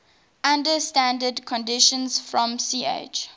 under standard conditions from ch